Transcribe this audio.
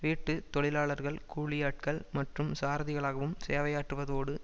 வீட்டு தொழிலாளர்கள் கூலியாட்கள் மற்றும் சாரதிகளாகவும் சேவையாற்றுவதோடு